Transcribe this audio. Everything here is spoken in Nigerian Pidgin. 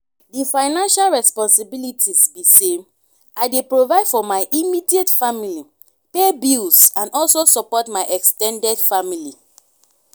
di financial responsibilities be say i dey provide for my immediate family pay bills and also support my ex ten ded family.